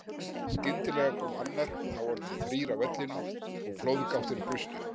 Skyndilega kom annar og þá orðnir þrír á vellinum og flóðgáttir brustu.